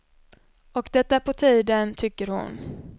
Och det är på tiden, tycker hon.